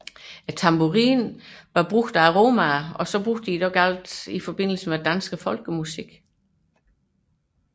Tamburinen var brugt af romaerne og blev derfor et meget i forbindelse med dans og folkemusik